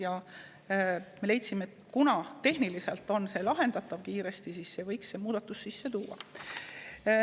Ja me leidsime, et kuna see on tehniliselt kiiresti lahendatav, siis võiks selle muudatuse sisse tuua.